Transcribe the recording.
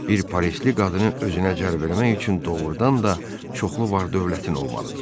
Bir parisli qadını özünə cəlb eləmək üçün doğrudan da çoxlu var-dövlətin olmalıdır.